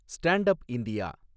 stand up India